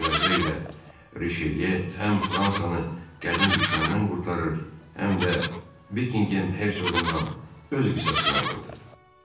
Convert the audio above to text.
Bu zərbə ilə Rişelye həm Fransanı qədim düşməndən qurtarır, həm də Bikinqem Hersoqundan öz qisasını alırdı.